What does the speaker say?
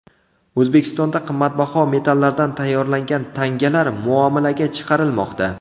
O‘zbekistonda qimmatbaho metallardan tayyorlangan tangalar muomalaga chiqarilmoqda.